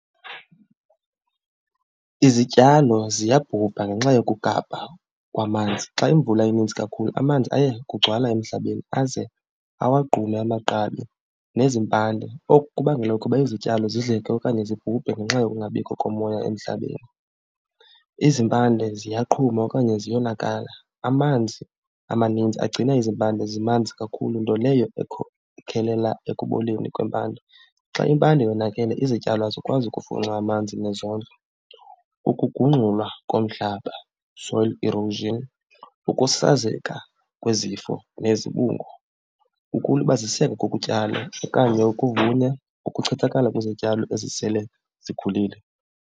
Izityalo ziyabhubha ngenxa yokugabha kwamanzi. Xa imvula ininzi kakhulu amanzi aye kugcwala emhlabeni aze awagqume amagqabi nezimpande. Oku kubangela ukuba izityalo zidleke okanye zibhubhe ngenxa yokungabikho komoya emhlabeni. Izimpande ziyaqhuma okanye ziyonakala, amanzi amaninzi agcina izimpande zimanzi kakhulu, nto leyo ekhokelela ekuboleni kwempanda. Xa impande yonakele izityalo azikwazi ukufunxa amanzi nezondlo. Ukugungxulwa komhlaba, soil erosion, ukusasazeka kwezifo nezibungu, ukulibaziseka kokutyala okanye ukuvuna, ukuchithakala kwezityalo ezisele zikhulile.